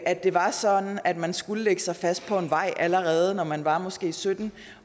at det var sådan at man skulle lægge sig fast på en vej allerede når man var måske sytten